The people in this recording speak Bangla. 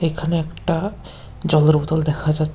এখানে একটা জলের বুতল দেখা যা--